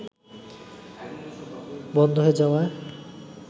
বন্ধ হয়ে যাওয়ায়